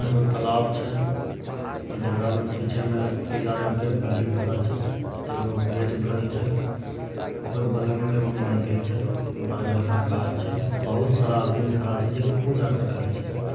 एक तालाब छे। जगड़ा मे पीछे मे पीला रंग के बिल्डिंग खड़ा छे। एक वो गेट बनल छे। ओकर बगल मे एगो मन्दिर छे। बरगद के गाछ छे। बहुत सारा आदमी खड़ा छे देखे पूजा करल छे।